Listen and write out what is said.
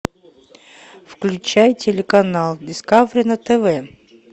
включай телеканал дискавери на тв